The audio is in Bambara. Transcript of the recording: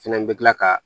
Fɛnɛ bɛ kila ka